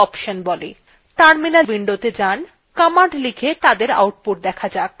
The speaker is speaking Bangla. terminal windowgo যান commands লিখে তাদের outputs দেখা যাক